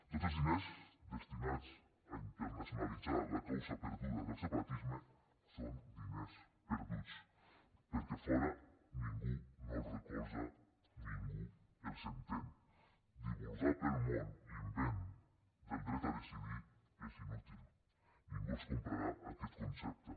tots els diners destinats a internacionalitzar la causa perduda del separatisme són diners perduts perquè a fora ningú no els recolza ningú els entén divulgar pel món l’invent del dret a decidir és inútil ningú els comprarà aquest concepte